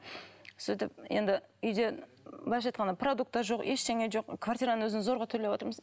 сөйтіп енді үйде былайша айтқанда продукты жоқ ештеңе жоқ квартираның өзін зорға төлеватырмыз